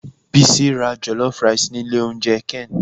Bisi ra jollof rice ni ilé oúnjẹ ken.